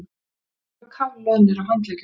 Sumir voru kafloðnir á handleggjunum.